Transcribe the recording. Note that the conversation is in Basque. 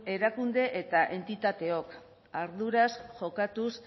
erakunde eta entitateok arduraz jokatuz